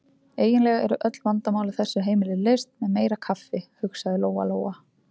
Eiginlega eru öll vandamál á þessu heimili leyst með meira kaffi, hugsaði Lóa-Lóa.